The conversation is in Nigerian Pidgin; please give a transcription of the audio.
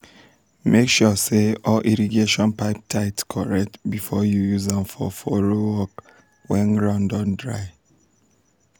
make sure say all irrigation pipe tight correct before you use am for furrow work when ground don dry.